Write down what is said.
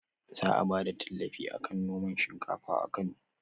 Za a bada tallafi akan noman shinkafa a kano